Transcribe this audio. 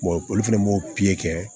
olu fɛnɛ m'o pikiri kɛ